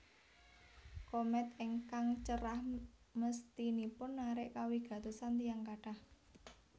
Komèt ingkang cerah mesthinipun narik kawigatosan tiyang kathah